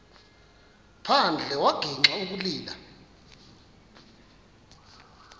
phandle wagixa ukulila